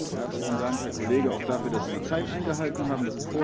Herzlichen Dank, Herr Kollege, auch dafür, dass Sie die Zeit eingehalten haben.